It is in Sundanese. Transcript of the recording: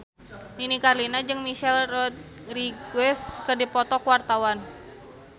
Nini Carlina jeung Michelle Rodriguez keur dipoto ku wartawan